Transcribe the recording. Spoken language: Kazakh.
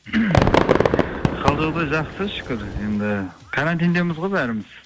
қал жағдай жақсы шүкір енді карантиндеміз ғой бәріміз